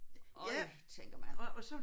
Øj tænker man